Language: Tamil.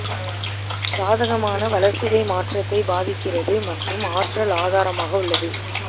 சாதகமான வளர்சிதை மாற்றத்தை பாதிக்கிறது மற்றும் ஆற்றல் ஆதாரமாக உள்ளது